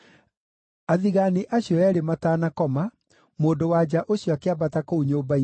Athigaani acio eerĩ matanakoma, mũndũ-wa-nja ũcio akĩambata kũu nyũmba igũrũ,